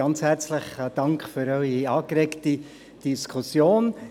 Ganz herzlichen Dank für Ihre angeregte Diskussion.